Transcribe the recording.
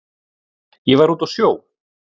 Ég var úti á sjó.